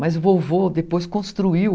Mas vovô depois construiu...